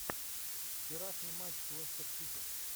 вчерашний матч лестер сити